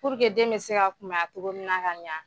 den bɛ se ka kunbaya togo minna ka ɲa.